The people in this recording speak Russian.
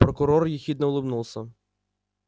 прокурор ехидно улыбнулся